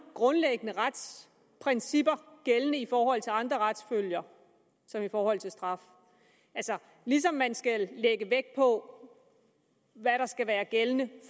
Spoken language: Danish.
grundlæggende retsprincipper gældende i forhold til andre retsfølger som i forhold til straf altså ligesom man skal lægge på hvad der skal være gældende